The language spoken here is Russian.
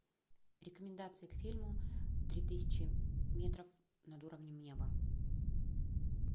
рекомендации к фильму три тысячи метров над уровнем неба